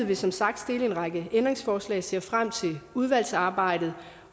vil som sagt stille en række ændringsforslag og ser frem til udvalgsarbejdet